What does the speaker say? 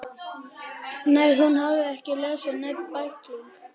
Nei, hún hafði ekki lesið neinn bækling.